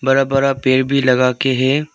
बड़ा बड़ा पेड़ भी लगा के है।